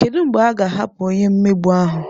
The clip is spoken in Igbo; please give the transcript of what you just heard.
Kedu mgbe a ga-ahapụ onye mmegbu ahụ?